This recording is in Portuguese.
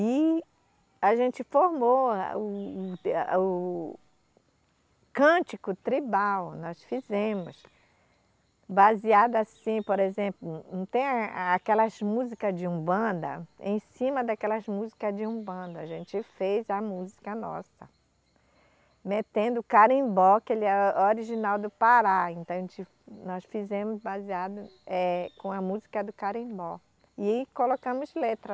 E a gente formou a, o, o, o cântico tribal, nós fizemos, baseado assim, por exemplo, não tem aquelas música de umbanda, em cima daquelas música de umbanda, a gente fez a música nossa, metendo carimbó, que ele é original do Pará, então a gente, nós fizemos baseado, eh, com a música do carimbó e colocamos letra.